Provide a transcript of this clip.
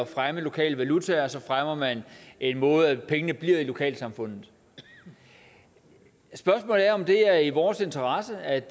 fremme lokale valutaer fremmer man en måde hvorpå pengene bliver i lokalsamfundet spørgsmålet er om det er i vores interesse at